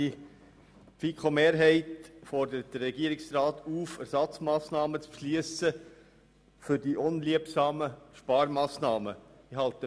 Die FiKo-Mehrheit fordert den Regierungsrat dazu auf, Ersatzmassnahmen für die unliebsamen Sparmassnahmen zu beschliessen.